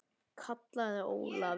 kallaði Ólafur.